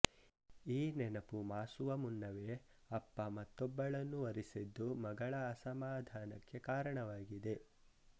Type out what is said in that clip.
ಈ ನೆನಪು ಮಾಸುವ ಮುನ್ನವೇ ಅಪ್ಪ ಮತ್ತೊಬ್ಬಳನ್ನು ವರಿಸಿದ್ದು ಮಗಳ ಅಸಮಾಧಾನಕ್ಕೆ ಕಾರಣವಾಗಿದೆ